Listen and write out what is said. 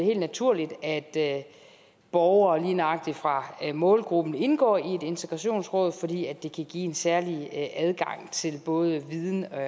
helt naturligt at borgere lige nøjagtig fra målgruppen indgår i et integrationsråd fordi det kan give en særlig adgang til både viden og